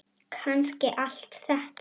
Kannski allt þetta.